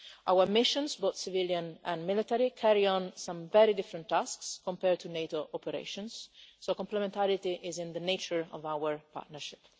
Our missions, both civilian and military, carry out some very different tasks compared to NATO operations, so complementarity is in the nature of our partnership.